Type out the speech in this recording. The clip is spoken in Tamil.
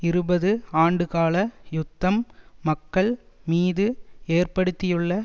இருபது ஆண்டுகால யுத்தம் மக்கள் மீது ஏற்படுத்தியுள்ள